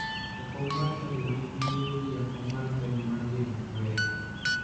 Jakom mar chadiwa nigi nyiego gi jakom mar chagi mar geno maber.